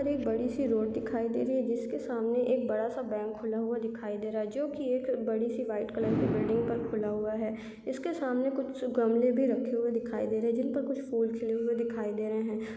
और एक बड़ी सी रोड दिखाई दे रही है जिसके सामने एक बड़ा-सा बैंक खुला हुआ दिखाई दे रहा है जोकि एक बड़ी सी वाइट कलर की बिल्डिंग तक खुला हुआ है उसके सामने कुछ गमले भी रखे वे दिखाई दे रहे है जिस पे कुछ फूल खिले हुए दिखाई दे रहे है।